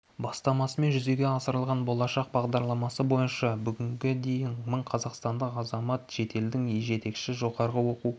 бастамасымен жүзеге асырылған болашақ бағдарламасы бойынша бүгінге дейін мың қазақстандық азамат шетелдің жетекші жоғары оқу